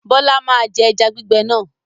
Bọlá máa je ẹja gbígbẹ náà.